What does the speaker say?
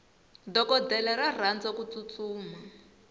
dokodela ra rhandza kutsutsuma